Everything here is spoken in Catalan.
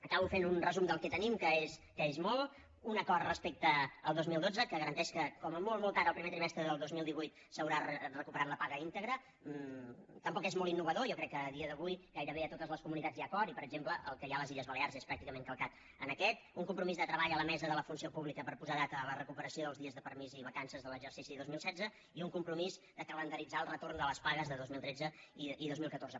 acabo fent un resum del que tenim que és molt un acord respecte al dos mil dotze que garanteix que com a molt molt tard el primer trimestre del dos mil divuit s’haurà recuperat la paga íntegra tampoc és molt innovador jo crec que a dia d’avui gairebé a totes les comunitats hi ha acord i per exemple el que hi ha a les illes balears és pràcticament calcat a aquest un compromís de treball a la mesa de la funció pública per posar data a la recuperació dels dies de permís i vacances de l’exercici dos mil setze i un compromís de calendaritzar el retorn de les pagues de dos mil tretze i dos mil catorze